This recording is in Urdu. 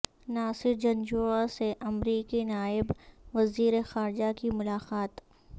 ناصر جنجوعہ سے امریکی نائب وزیر خارجہ کی ملاقات